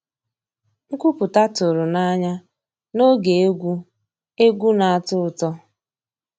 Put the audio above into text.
Nkwúpụ́tá tụ̀rụ̀ n'ànyá n'ògé égwu égwu ná-àtọ́ ụtọ́.